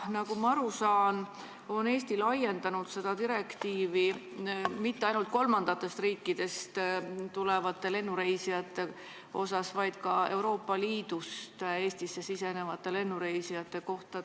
Nagu ma aru saan, ei ole Eesti seda direktiivi laiendanud mitte ainult kolmandatest riikidest tulevatele lennureisijatele, vaid ka Euroopa Liidust Eestisse sisenevatele lennureisijatele.